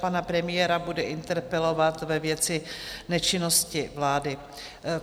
Pana premiéra bude interpelovat ve věci nečinnosti vlády.